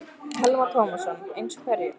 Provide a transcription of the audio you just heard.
Telma Tómasson: Eins og hverju?